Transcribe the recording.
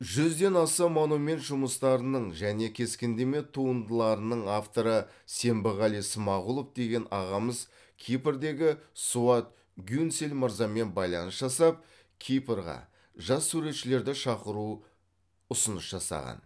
жүзден аса монумент жұмыстарының және кескіндеме туындыларының авторы сембіғали смағұлов деген ағамыз кипрдегі суат гюнсель мырзамен байланыс жасап кипрға жас суретшілерді шақыру ұсыныс жасаған